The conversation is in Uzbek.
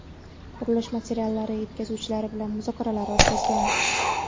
qurilish materiallari yetkazuvchilari bilan muzokaralar o‘tkazgan.